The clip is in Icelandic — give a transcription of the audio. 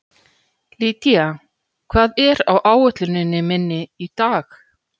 Lydia, hvað er á áætluninni minni í dag?